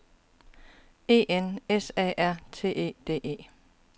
E N S A R T E D E